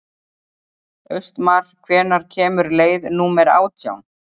Austmar, hvenær kemur leið númer átján?